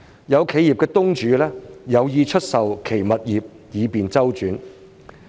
有企業東主有意出售其物業以便周轉。